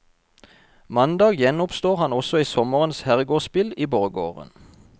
Mandag gjenoppstår han også i sommerens herregårdsspill i borggården.